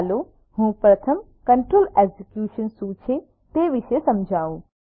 ચાલો હું પ્રથમ કન્ટ્રોલ એકઝીક્યુશન શું છે તે વિષે સમજાવું